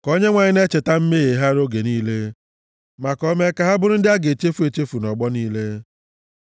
Ka Onyenwe anyị na-echeta mmehie ha oge niile; ma ka o mee ka ha bụrụ ndị a ga-echefu echefu nʼọgbọ niile.